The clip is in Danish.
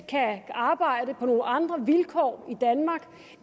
kan arbejde på nogle andre vilkår i danmark